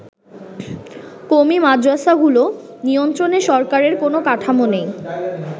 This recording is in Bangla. কওমী মাদ্রাসাগুলো নিয়ন্ত্রণে সরকারের কোন কাঠামো নেই।